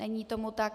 Není tomu tak.